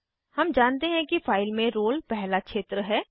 हम जानते हैं कि फाइल में रोल नंबर पहला क्षेत्र है